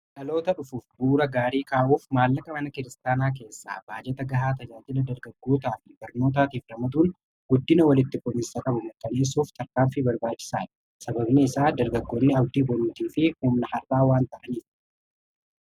laloota dhufuuf buura gaarii kaa'uuf maallaqa mana kiristaanaa keessaa baajata gahaa tajaajila dargaggootaa f ibarnootaatiif damaduun guddina walitti folinsaa qabu mataneessuuf tarkaan fi barbaachisaa'i sababni isaa dargaggoonni abdii bolotii fi humna har'aa waan ta'aniif